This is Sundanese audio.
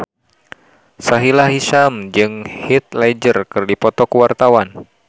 Sahila Hisyam jeung Heath Ledger keur dipoto ku wartawan